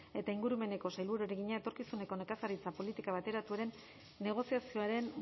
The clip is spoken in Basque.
eta ingurumeneko sailburuari egina etorkizuneko nekazaritza politika bateratuaren negoziazioaren